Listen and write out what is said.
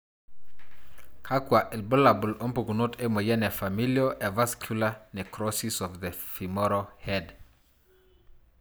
Kakwa ilbulabul ompukunot emoyian e Familial avascular necrosis of the femoral head?